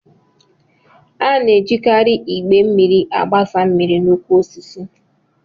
A na-ejikarị igbé mmiri agbasa mmiri n'ukwu osisi